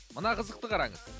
мына қызықты қараңыз